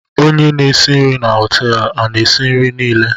Onye n'esi nrii na hotéélu a na esi nri Nile?